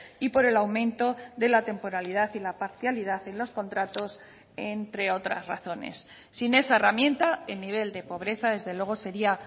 y por el aumento de la temporalidad y la parcialidad en los contratos entre otras razones sin esa herramienta el nivel de pobreza desde luego sería